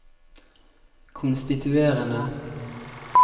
konstituerende